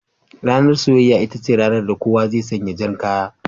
Ranar soyayya, ita ce ranar da kowa zai sanya jan kaya